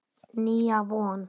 Nýja von.